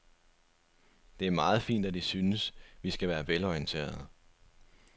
Det er meget fint, at I synes, vi skal være velorienterede.